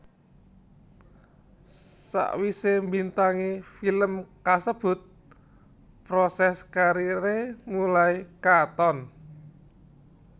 Sawisé mbintangi film kasebut proses kariré mulai katon